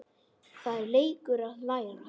Það er leikur að læra